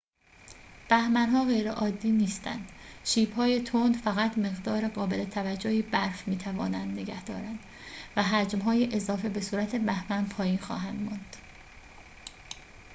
بهمن‌ها غیرعادی نیستند شیب‌های تند فقط مقدار قابل توجهی برف می‌توانند نگه دارند و حجم‌های اضافه به صورت بهمن پایین خواهند آمد